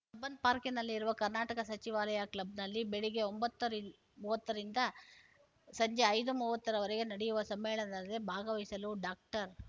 Cubbon ಪಾರ್ಕ್‍ನಲ್ಲಿರುವ ಕರ್ನಾಟಕ ಸಚಿವಾಲಯ ಕ್ಲಬ್‍ನಲ್ಲಿ ಬೆಳಿಗ್ಗೆ ಒಂಬತ್ತು ಮೂವತ್ತ ರಿಂದ ಸಂಜೆ ಐದು ಮೂವತ್ತ ರವರೆಗೆ ನಡೆಯುವ ಸಮ್ಮೇಳನದಲ್ಲಿ ಭಾಗವಹಿಸಲು ಡಾಕ್ಟರ್